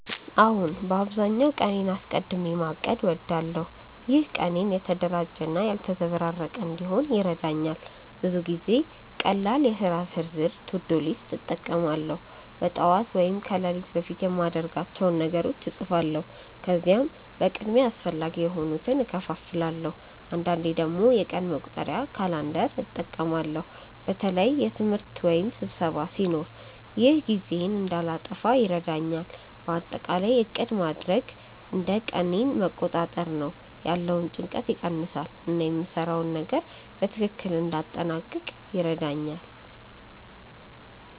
አዎን፣ በአብዛኛው ቀኔን አስቀድሚ ማቀድ እወዳለሁ። ይህ ቀኔን የተደራጀ እና ያልተዘበራረቀ እንዲሆን ይረዳኛል። ብዙ ጊዜ ቀላል የሥራ ዝርዝር (to-do list) እጠቀማለሁ። በጠዋት ወይም ከሌሊት በፊት የማድርጋቸውን ነገሮች እጻፋለሁ፣ ከዚያም በቅድሚያ አስፈላጊ የሆኑትን እከፋፍላለሁ። አንዳንዴ ደግሞ የቀን መቁጠሪያ (calendar) እጠቀማለሁ በተለይ ትምህርት ወይም ስብሰባ ሲኖር። ይህ ጊዜዬን እንዳልጠፋ ይረዳኛል። በአጠቃላይ ዕቅድ ማድረግ እንደ ቀኔን መቆጣጠር ነው፤ ያለውን ጭንቀት ይቀንሳል እና የምሰራውን ነገር በትክክል እንዲያጠናቅቅ ይረዳኛል።